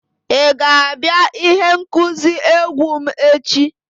Ị ga-abịa ihe ngosi egwu m echi?